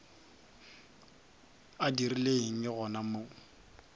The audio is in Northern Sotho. a dirile eng gona mo